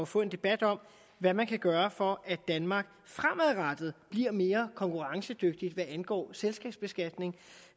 få en debat om hvad man kan gøre for at danmark fremadrettet bliver mere konkurrencedygtigt hvad angår selskabsbeskatning